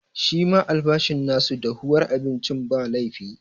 Shi ma albashin ma su dahuwar abincin, ba laifi.